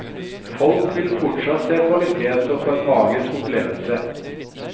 Folk vil fortsatt se kvalitet og få en magisk opplevelse.